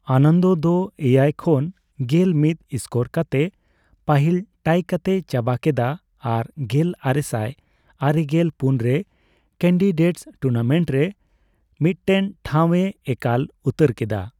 ᱟᱱᱚᱱᱫᱚ ᱫᱚ ᱮᱭᱟᱭ ᱠᱷᱚᱱ ᱜᱮᱞ ᱢᱤᱛ ᱥᱠᱳᱨ ᱠᱟᱛᱮ ᱯᱟᱹᱦᱤᱞ ᱴᱟᱤ ᱠᱟᱴᱮᱭ ᱪᱟᱵᱟ ᱠᱮᱫᱟ ᱟᱨ ᱜᱮᱞ ᱟᱨᱮᱥᱟᱭ ᱟᱨᱮᱜᱮᱞ ᱯᱩᱱ ᱨᱮ ᱠᱮᱱᱰᱤᱰᱮᱴᱥ ᱴᱩᱨᱱᱟᱢᱮᱱᱴ ᱨᱮ ᱢᱤᱴᱴᱮᱱ ᱴᱷᱟᱣᱼᱮ ᱮᱠᱟᱞ ᱩᱛᱟᱹᱨ ᱠᱮᱫᱟ ᱾